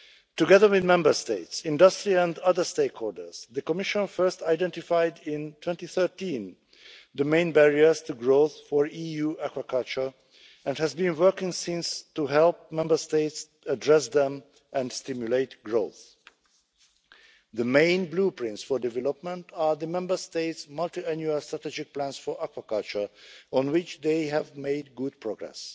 Together with Member States, industry and other stakeholders, the Commission first identified in 2013 the main barriers to growth for EU aquaculture and has been working since to help Member States address them and stimulate growth. The main blueprints for development are the Member States' multi annual strategic plans for aquaculture, on which they have made good progress,